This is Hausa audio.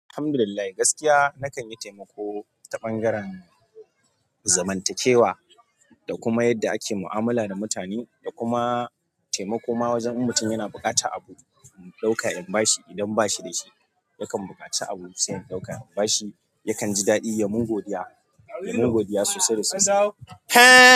Alhamdulillah gaskiya na kan yi taimako ta ɓangaren zamantakewa da kuma yadda ake mu'amala da mutane da kuma taimako ma wajen in mutum yana buƙatan abu mu ɗauka in bashi idan ba shi da shi yakan buƙaci abu sai in ɗauka in bashi yakan ji daɗi yamun godiya yamun godiya sosai da sosai.